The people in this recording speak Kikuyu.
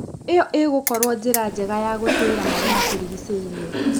ĩyo ĩgũkorwo njĩra njega ya gũtũĩria marĩa matũrigicĩirie.